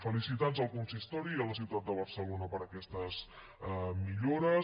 felicitats al consistori i a la ciutat de barcelona per aquestes millores